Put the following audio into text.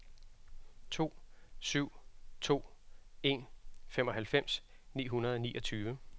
to syv to en femoghalvfems ni hundrede og niogtyve